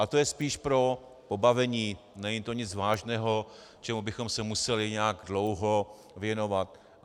Ale to je spíš pro pobavení, není to nic vážného, čemu bychom se měli nějak dlouho věnovat.